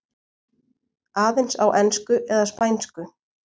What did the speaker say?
Aðeins á ensku eða spænsku.